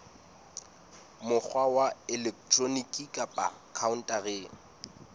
mokgwa wa elektroniki kapa khaontareng